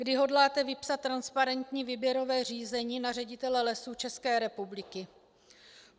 Kdy hodláte vypsat transparentní výběrové řízení na ředitele Lesů České republiky?